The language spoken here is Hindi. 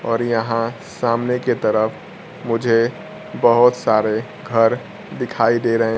और यहां सामने के तरफ मुझे बहुत सारे घर दिखाई दे रहे--